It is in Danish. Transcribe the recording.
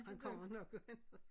Han kommer nok og henter